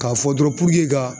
K'a fɔ dɔrɔn ka